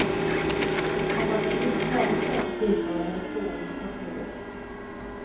Om han överhuvudtaget svarar på tilltal är det fåordigt och korthugget.